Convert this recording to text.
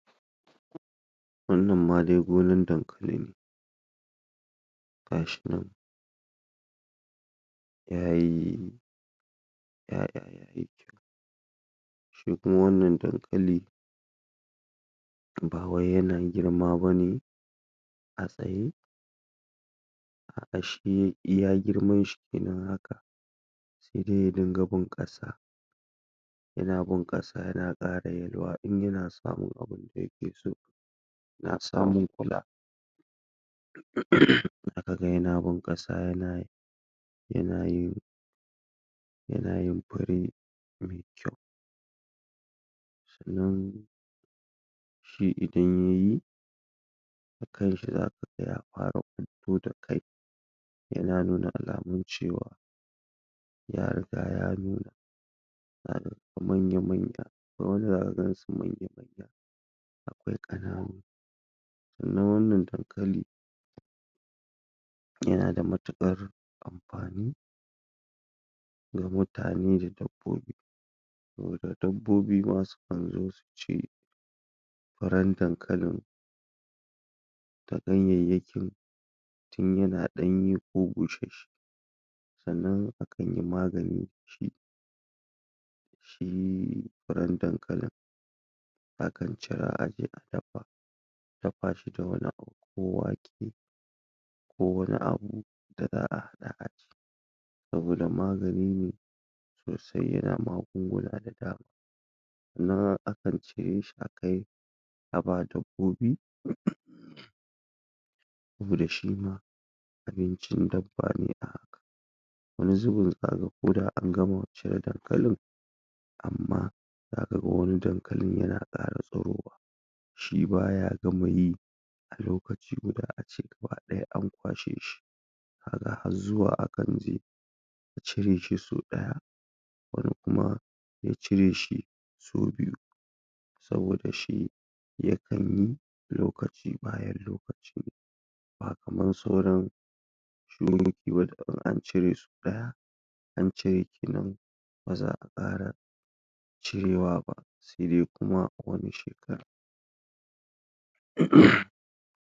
Barkan mu da wannan lokaci, sannun nu da sake haɗuwa. A inda zamuyi magana ta ya ya alamomin da ake amfani da su na ayyukan noma zai taimaka ma yankunan mu ko kuma mu ce al'umman mu su saba da chanjin da za'a samu na na yanayin wurin zaman da muke, sannan kuma ta yaya za mu iya shawo kan ƙalubalen da su ke To chanje-chanjen da zamu iya samu a dalilin waɗannan alamomin aikin gona da ake yi shine na farko dai za a samu chanji a wajen ruwan da ake amfani da shi dole ruwan da ake amfani da shi za a samu ƙarancin ruwa daga daga yankunan mu dalili kuwa gonaki ana tura musu ruwa dole al'umma su yi hakuri da ƙarancin ruwan da za a samusannan kuma a nemi wata hanya ta abinnan. Da za a To hanyan da za a bi a shawo kan wannan matsalan shi ne a samu irin su tuƙa-tuƙan nan da ake na zamani, bohol bohol da da a kan haƙa to wannan zai bada damar cewa [um aikin gona bai samu matsala ba ta wajen ruwa sannan su ma al'umman mu su ma basu samu matsala ba kuma za su saba da wannan chanji da aka samu na rashin ruwa ko kuma abu har su samu su iya riƙe wannan lokacin. Sannan kuma abu na gaba shine yanayin yanayin gari da za a samu idan ana wannan irin noman garin zai kasance wani lokaci akwai sanyi sosai to idan samu irin wannan lokaci da sanyi yayi yawa to al'umman mu ya kamata ace a nemo hanyan da za a rage wannan sanyi da de wannan hanyan kuma ita ce shine yawan amfani da wuta a ko da yaushe. Sannan kuma rufe wundunan ɗaki saboda dai a samu a tsira tare daga gonan mu din ba sai an taɓa ta ba mu ma mutanen mu basu cutu ba. To inaga da waɗannan dalilai kwara biyu ya kamata a ce al'umman mu sun saba ko kuma sun karbi chanjin da ya zo musu sannan kuma an samu hanyan da aka gyara waɗannan kalubale. Na gode.